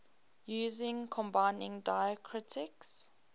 using combining diacritics